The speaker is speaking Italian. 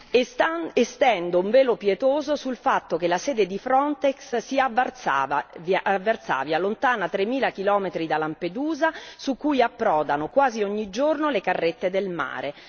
E stendo un velo pietoso sul fatto che la sede di Frontex è a Varsavia, lontana 3000 chilometri da Lampedusa, dove approdano quasi ogni giorno le carrette del mare.